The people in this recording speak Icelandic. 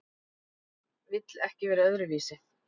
Vill ekki vera öðruvísi.